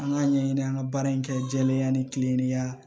An ka ɲɛɲini an ka baara in kɛ jɛlenya ni kilennenya